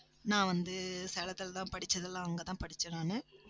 நான் வந்து சேலத்துலதான் படிச்சதெல்லாம் அங்கதான் படிச்சேன் நானு